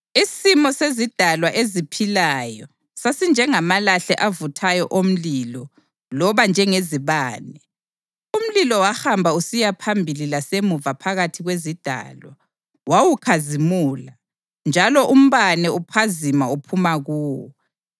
Isimo sezidalwa eziphilayo sasinjengamalahle avuthayo omlilo loba njengezibane. Umlilo wahamba usiya phambili lasemuva phakathi kwezidalwa; wawukhazimula, njalo umbane uphazima uphuma kuwo.